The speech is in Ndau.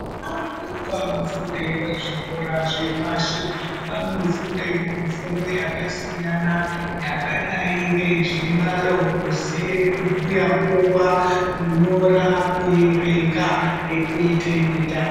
Ana adoko anofunde pazvikora zvepashi, vanofundewo mifundo yakasiyana yakadai ngezvibhalo, kuziye kubhuya nguwa, kunyora, kuerenga nekuite mitambo.